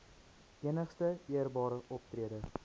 enigste eerbare optrede